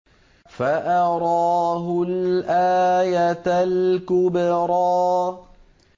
فَأَرَاهُ الْآيَةَ الْكُبْرَىٰ